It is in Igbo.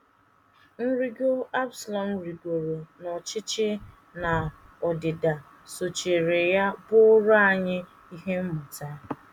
Nrịgo Absalọm rịgo n’ọchịchị na ọdịda sochiri ya bụụrụ anyị ihe mmụta.